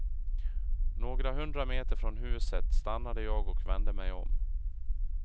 Några hundra meter från huset stannade jag och vände mig om.